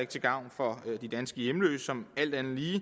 til gavn for de danske hjemløse som alt andet lige